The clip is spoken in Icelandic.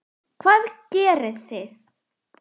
Hvað gerið þið?